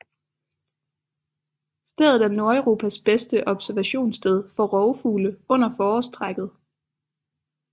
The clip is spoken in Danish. Stedet er Nordeuropas bedste observationssted for rovfugle under forårstrækket